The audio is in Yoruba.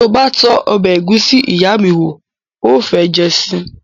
Ti o ba tó ọbẹ egusi iya mi wo, o o fe jẹ sii